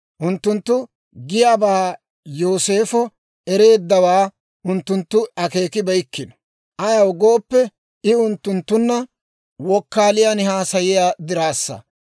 Unttunttu giyaabaa Yooseefo ereeddawaa unttunttu akeekibeykkino; ayaw gooppe, I unttunttunna wokkaaliyaan haasayiyaa diraassa.